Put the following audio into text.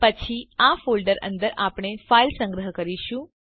પછી આ ફોલ્ડર અંદર આપણે ફાઇલ સંગ્રહ કરીશું